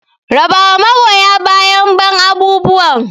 Raba wa magoya bayan ban abubuwan!